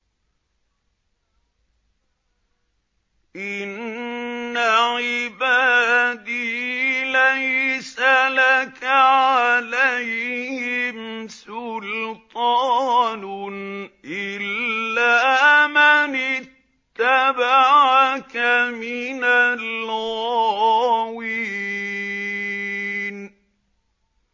إِنَّ عِبَادِي لَيْسَ لَكَ عَلَيْهِمْ سُلْطَانٌ إِلَّا مَنِ اتَّبَعَكَ مِنَ الْغَاوِينَ